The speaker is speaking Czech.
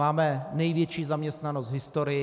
Máme největší zaměstnanost v historii.